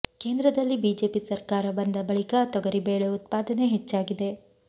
ಕೇಂದ್ರದಲ್ಲಿ ಬಿಜೆಪಿ ಸರ್ಕಾರ ಬಂದ ಬಳಿಕ ತೊಗರಿ ಬೇಳೆ ಉತ್ಪಾದನೆ ಹೆಚ್ಚಾಗಿದೆ